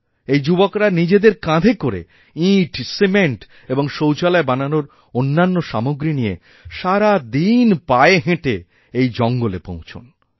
এই যুবকরা নিজেদের কাঁধেকরে ইঁট সিমেন্ট এবং শৌচালয় বানানোর অন্যান্য সামগ্রী নিয়ে সারাদিন পায়ে হেঁটে এইজঙ্গলে পৌঁছান